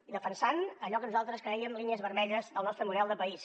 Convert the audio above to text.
i defensant allò que nosaltres crèiem línies vermelles del nostre model de país